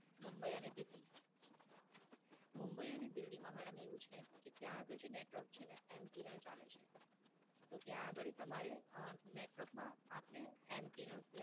મુંબઈ અને દિલ્હી? મુંબઈ અને દિલ્હીમાં મેડમ એવું છે કે ત્યાં આગળ જે Network છે ને એ MTNL ચાલે છે. તો ત્યાં આગળ તમારે Network માં આપને MTNL